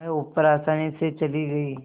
वह ऊपर आसानी से चली गई